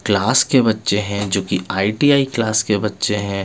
Class के बच्चे है जो की आय_ टी_ आय क्लास के बच्चे है.